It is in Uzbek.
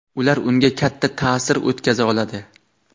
ular unga katta ta’sir o‘tkaza oladi.